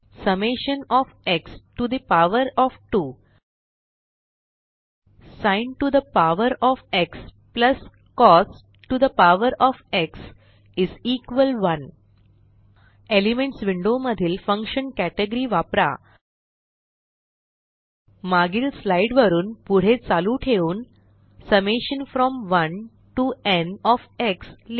summation of x to the power of 2 sin to the power of x plus cos to the power of x 1 elements window मधील function category वापरा मागील slide वरुन पुढे चालू ठेवून summation from 1 to n of x लिहा